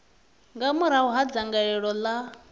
nga murahu ha dzangalelo ḽa